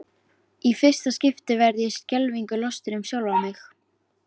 Í fyrsta skipti verð ég skelfingu lostin um sjálfa mig.